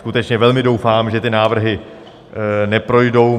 Skutečně velmi doufám, že ty návrhy neprojdou.